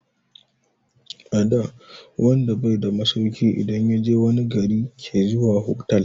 Ada wanda bai da masauki idan yaje wani gari ke zuwa hotal